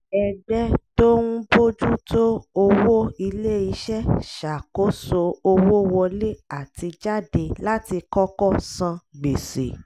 ẹgbẹ́ tó ń bójú tó owó ilé-iṣẹ́ ṣakoso owó wọlé àti jáde láti kọ́kọ́ san gbèsè